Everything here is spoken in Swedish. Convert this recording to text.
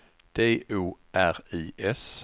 D O R I S